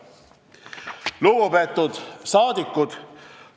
Lugupeetud rahvasaadikud!